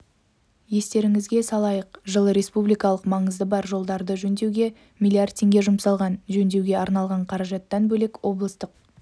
естеріңізге салайық жылы республикалық маңызы бар жолдарды жөндеуге млрд теңге жұмсалған жөндеуге арналған қаражаттан бөлек облыстық